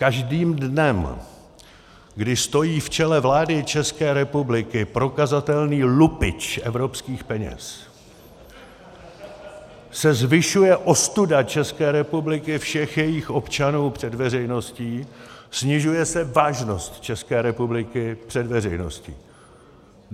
Každým dnem, kdy stojí v čele vlády České republiky prokazatelný lupič evropských peněz , se zvyšuje ostuda České republiky, všech jejích občanů před veřejností, snižuje se vážnost České republiky před veřejností.